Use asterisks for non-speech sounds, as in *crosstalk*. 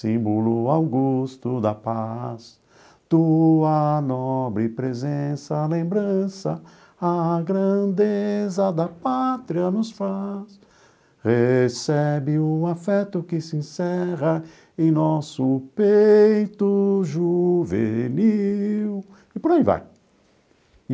Símbolo Augusto da Paz tua nobre presença, lembrança a grandeza da pátria nos faz...Recebe um afeto que se encerra em nosso peito juvenil. *sings* E por aí vai.